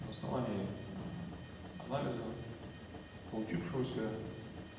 на основании анализа получившегося